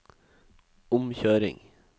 omkjøring